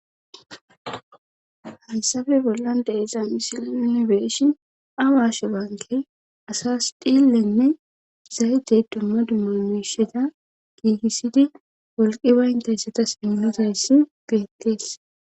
Hayssafe bollan deezan isil inibeeshin awashe baanke asas dhillenne zaytey dumma dumma misheda giigissidi wolqi bayntayssatas immizayssi geettees